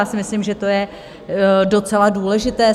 Já si myslím, že to je docela důležité.